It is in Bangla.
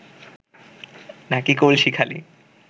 নাকি কলসি খালি